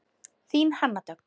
Þín Hanna Dögg.